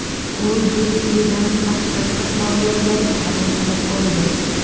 U Getjidan qaqshatqich mag‘lubiyatni qabul qilib oldi.